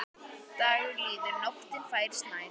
Dagur líður, nóttin færist nær.